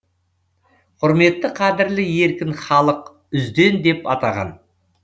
құрметті қадірлі еркін халық үзден деп атаған